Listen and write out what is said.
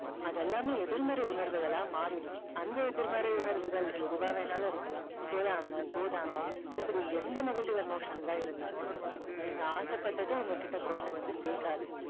அது எல்லாமே எதிர்மறை உணர்வுகளா மாறிடும். அந்த எதிர்மறை உணர்வுகள் எதுவா வேணும்னாலும் இருக்கலாம். பொறாமை, போதாமை இப்படி எந்த negative emotions ஆ இருந்தாலும் நீங்க ஆசைப்பட்டதை உங்ககிட்ட கொண்டுவந்து சேக்காது.